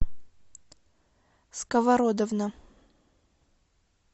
сковородовна